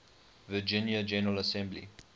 virginia general assembly